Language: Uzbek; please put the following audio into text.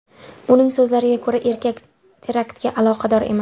Uning so‘zlariga ko‘ra, erkak teraktga aloqador emas.